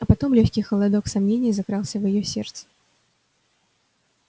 а потом лёгкий холодок сомнения закрался в её сердце